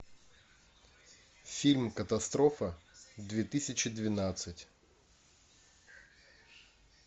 фильм катастрофа две тысячи двенадцать